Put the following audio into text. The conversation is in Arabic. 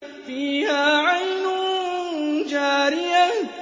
فِيهَا عَيْنٌ جَارِيَةٌ